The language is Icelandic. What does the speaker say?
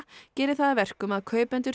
geri það að verkum að kaupendur